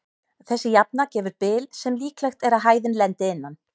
Þessi jafna gefur bil sem líklegt er að hæðin lendi innan.